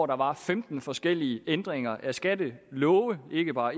der var femten forskellige ændringer af skattelove ikke bare